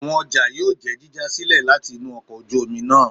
Awọn ọja yóò jẹ jíja silẹ latí inú ọkọ ojú omí náá